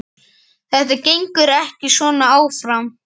Þetta gengur ekki svona áfram.